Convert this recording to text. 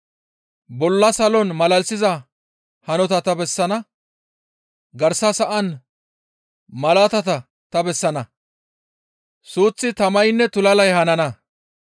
Bolla Salon malalisiza hanota ta bessana, garsa sa7an malaatata ta bessana; suuththi, tamaynne tulalay hanana.